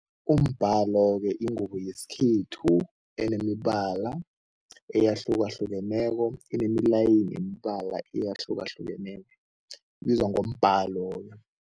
Umbhalo-ke yingubo yesikhethu enemibala eyahlukahlukeneko, enemilayini yemibala eyahlukahlukeneko, ibizwa ngombhalo.